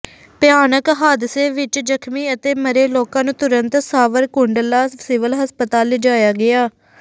ਭਿਆਨਕ ਹਾਦਸੇ ਵਿੱਚ ਜ਼ਖਮੀ ਅਤੇ ਮਰੇ ਲੋਕਾਂ ਨੂੰ ਤੁਰੰਤ ਸਾਵਰਕੁੰਡਲਾ ਸਿਵਲ ਹਸਪਤਾਲ ਲਿਜਾਇਆ ਗਿਆ